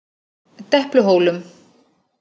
Depluhólum